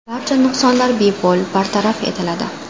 Barcha nuqsonlar bepul bartaraf etiladi.